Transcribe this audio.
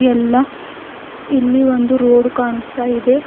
ಎಲ್ಲಾ ಇಲ್ಲಿ ಒಂದು ರೋಡ್ ಕಾಣಿಸ್ತಾ ಇದೆ.